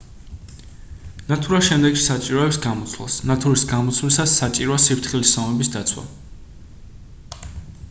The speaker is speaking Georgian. ნათურა შემდგომში საჭიროებს გამოცვლას ნათურის გამოცვლისას საჭიროა სიფრთხილის ზომების დაცვა